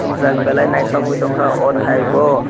ungjak belai naithok ungwi tongkha oh thai bo.